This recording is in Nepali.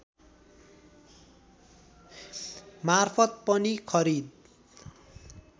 मार्फत पनि खरिद